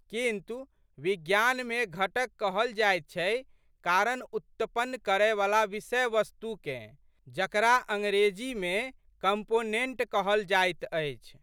किन्तु विज्ञानमे घटक कहल जाइत छै कारण उत्पन्न करएवला विषयवस्तुकेँ जकरा अंग्रेजीमे कॉम्पोनेन्ट कहल जाइत अछि।